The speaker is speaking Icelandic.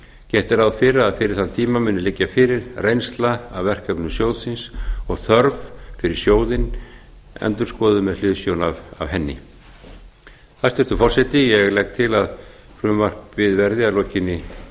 gert er ráð fyrir að fyrir þann tíma muni liggja fyrir reynsla af verkefnum sjóðsins og þörf fyrir sjóðinn endurskoðuð með hliðsjón af henni hæstvirtur forseti ég legg til að frumvarpinu verði að lokinni